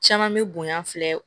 Caman bɛ bonya filɛ